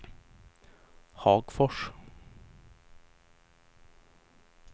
Hagfors